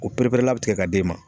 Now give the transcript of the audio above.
O pereperela bɛ tigɛ ka d'e ma.